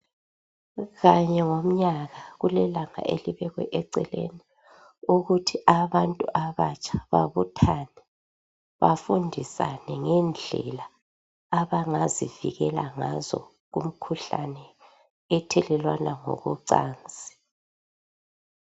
Kanye ngomnyaka kulelanga elibekwe eceleni ukuthi abantu abatsha babuthane bafundisane ngendlela abangazivikela ngazo kumkhuhlane ethelelwana ngokwecansi.